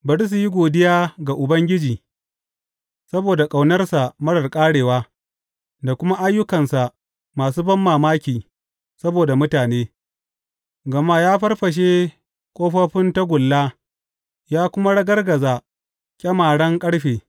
Bari su yi godiya ga Ubangiji saboda ƙaunarsa marar ƙarewa da kuma ayyukansa masu banmamaki saboda mutane, gama ya farfashe ƙofofin tagulla ya kuma ragargaza ƙyamaren ƙarfe.